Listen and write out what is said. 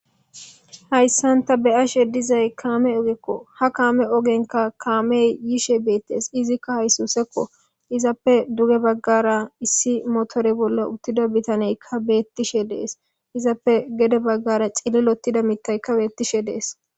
hayssan ta beyashe dizay kaame ogekko ha kaame ogenka kaamey yiishe beettees izikka haysusekko izappe duge baggara issi motori bolla uttida bitaneykka beettishe dees izappe gede baggara cillilotida mitaykka beettishe deesi